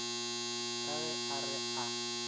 ka ge a re a